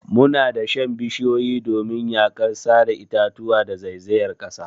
Muna dashen bishiyu domin yakar sare itatuwa da zaizayar kasa.